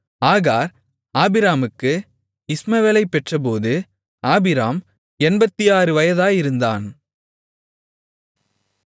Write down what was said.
ஆகார் ஆபிராமுக்கு இஸ்மவேலைப் பெற்றெடுத்தபோது ஆபிராம் 86 வயதாயிருந்தான்